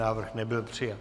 Návrh nebyl přijat.